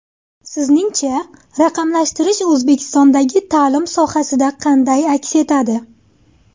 Sizningcha, raqamlashtirish O‘zbekistondagi ta’lim sohasida qanday aks etadi?